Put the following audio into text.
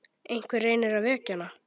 Einhver reynir að vekja hana.